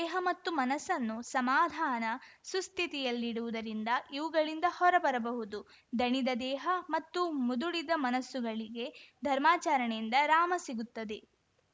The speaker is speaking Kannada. ಹ ಮತ್ತು ಮನಸ್ಸನ್ನು ಸಮಾಧಾನ ಸುಸ್ಥಿತಿಯಲ್ಲಿಡುವುದರಿಂದ ಇವುಗಳಿಂದ ಹೊರಬರಬಹುದು ದಣಿದ ದೇಹ ಮತ್ತು ಮುದುಡಿದ ಮನಸ್ಸುಗಳಿಗೆ ಧರ್ಮಾಚರಣೆಯಿಂದ ರಾಮ ಸಿಗುತ್ತದೆ